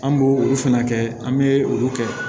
An b'o olu fɛnɛ kɛ an be olu kɛ